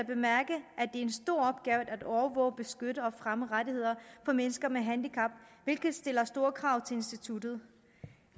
i en stor opgave at overvåge beskytte og fremme rettigheder for mennesker med handicap hvilket stiller store krav til instituttet